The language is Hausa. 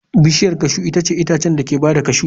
Bishiyar cashew itace itatuwan da ke ba da cashew.